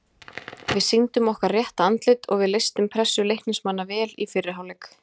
Við sýndum okkar rétta andlit og við leystum pressu Leiknismanna vel í fyrri hálfleik.